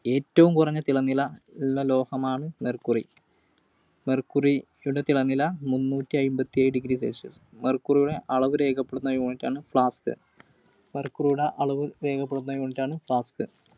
ഏറ്റവും കുറഞ്ഞ തിളനില ഉള്ള ലോഹമാണ് Mercury. Mercury യുടെ തിളനില മുന്നൂറ്റിഅമ്പത്തിയേഴു degree celsius. Mercury യുടെ അളവ് രേഖപ്പെടുത്തുന്ന unit ആണ് pascals. Mercury യുടെ അളവ് രേഖപ്പെടുത്തുന്ന unit ആണ് pascals.